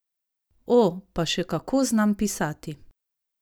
O, pa še kako znam pisati!